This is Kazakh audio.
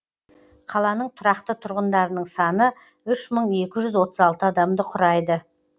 қаланың тұрақты тұрғындарының саны үш мың екі жүз отыз алты адамды құрайды